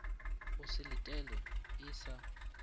go se letelwe e sa